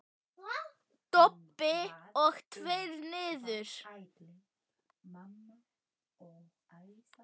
Dobl og tveir niður.